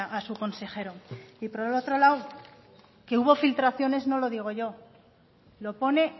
a su consejero y por otro lado que hubo filtraciones no lo digo yo lo pone